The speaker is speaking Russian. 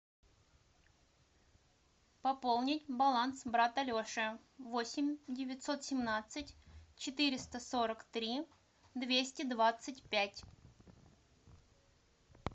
пополнить баланс брата леши восемь девятьсот семнадцать четыреста сорок три двести двадцать пять